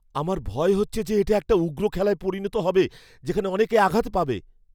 আমার ভয় হচ্ছে যে এটা একটা উগ্র খেলায় পরিণত হবে যেখানে অনেকে আঘাত পাবে।